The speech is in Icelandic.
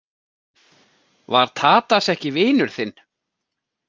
Var Tadas ekki vinur þinn?